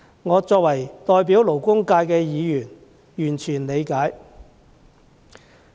我身為代表勞工界的議員是完全理解的。